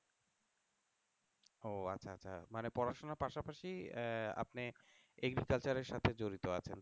ও আচ্ছা আচ্ছা মানে পড়াশোনার পাশাপাশি আহ আপনি Agriculture এর সাথে জড়িত আছেন